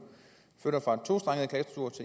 flytter fra